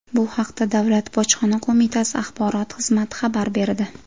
Bu haqda Davlat bojxona qo‘mitasi axborot xizmati xabar berdi .